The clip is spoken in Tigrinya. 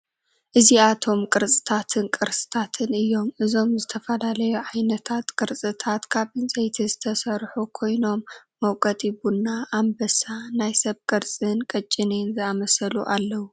እዝይኣቶም ቅርፅታትን ቅርስታትን እዮም። እዞም ዝተፈላለዩ ዓይነታት ቅርፅታት ካብ ዕንፀይትቲ ዝተሰርሑ ኮይኖም መውቀጢ ቡና፣ ኣንበሳ፣ ናይ ሰብ ቅርፂንቅጭኔን ዝኣመሰሉ ኣለው።